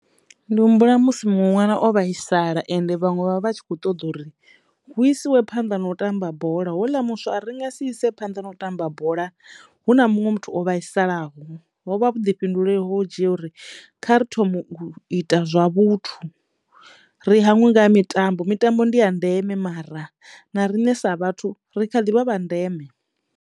Ndi humbula musi muṅwe ṅwana o vhaisala ende vhaṅwe vha vha tshi kho ṱoḓa uri hu isiwe phanḓa na u tamba bola hoḽa muswa a ri ri nga si ise phanḓa na u tamba bola hu na munwe muthu o vhaisalaho hovha vhuḓifhinduleli ho dzhia uri kha ri thomo u ita zwa vhuthu ri hangwe nga ha mitambo mitambo ndi ya ndeme mara na riṋe sa vhathu ri kha ḓivha vha ndeme.